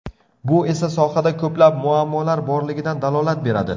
Bu esa sohada ko‘plab muammolar borligidan dalolat beradi.